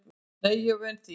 Nei, ég er svo vön því.